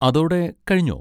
അതോടെ കഴിഞ്ഞോ?